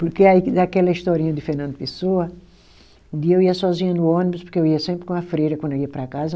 Porque aí que daquela historinha de Fernando Pessoa, um dia eu ia sozinha no ônibus, porque eu ia sempre com a freira quando eu ia para casa,